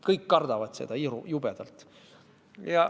Kõik kardavad seda jubedalt.